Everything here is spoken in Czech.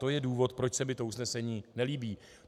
To je důvod, proč se mi to usnesení nelíbí.